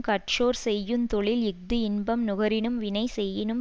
கற்றோர் செய்யுந்தொழில் இஃது இன்பம் நுகரினும் வினை செய்யினும்